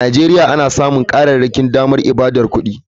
A nigeria ana samun karin damammakin yin ibadar kudi.